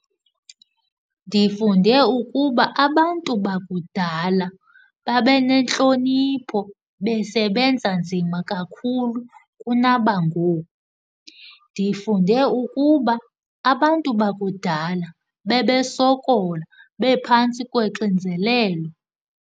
Ndifunde ukuba abantu bakudala babe nentlonipho besebenza nzima kakhulu kunabangoku. Ndifunde ukuba abantu bakudala bebesokola, bephantsi kwexinzelelo.